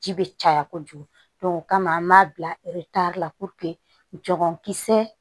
Ji bɛ caya kojugu o kama an b'a bila la jagokisɛ